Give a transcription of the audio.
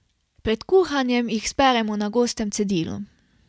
Pred kuhanjem jih speremo na gostem cedilu.